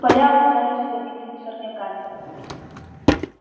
поля оказались забитыми сорняками